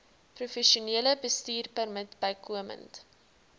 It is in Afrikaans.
professionele bestuurpermit bykomend